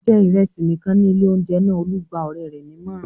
"Jẹ ìrẹsì nìkan ní ilé-oúnjẹ náà!" Olú gba ọ̀rẹ́ rẹ̀ nímọ̀ràn.